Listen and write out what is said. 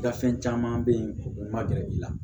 I ka fɛn caman be yen o ma gɛrɛ i la